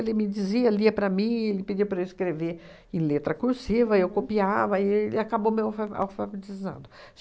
Ele me dizia, lia para mim, ele pedia para eu escrever em letra cursiva, eu copiava, e ele acabou me alfa alfabetizando.